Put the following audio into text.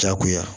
Jagoya